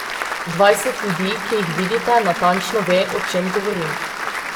Dvajset ljudi, ki jih vidite, natančno ve, o čem govorim.